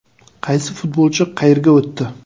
Qaysi futbolchi qayerga o‘tdi?.